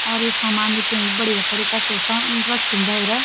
और यू सामान भी त युंकु बढ़िया तरीका सो रख्यूं भैर।